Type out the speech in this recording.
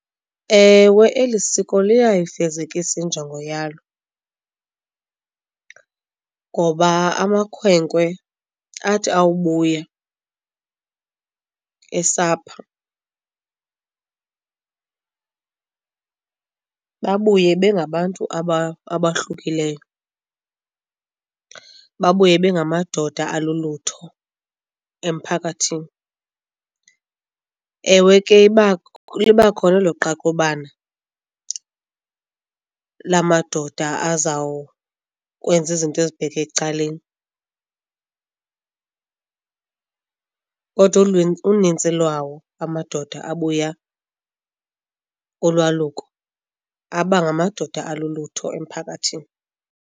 Ewe eli siko liyayifezekisa injongo yalo ngoba amakhwenkwe athi awubuya esapha babuye bengabantu abahlukileyo, babuye bengamadoda alulutho emphakathini. Ewe ke libakhona elo qaqobana lamadoda azawukwenza izinto ezibheke ecaleni, kodwa unintsi lwawo amadoda abuya kulwaluko abangamadoda alulutho emphakathini.